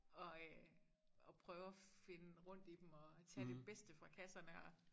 Og øh og prøve at finde rundt i dem og tage det bedste fra kasserne og